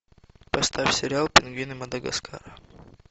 поставь сериал пингвины мадагаскара